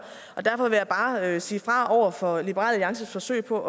og derfor vil jeg bare sige fra over for liberal alliances forsøg på